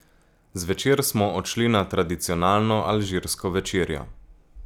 Zvečer smo odšli na tradicionalno alžirsko večerjo.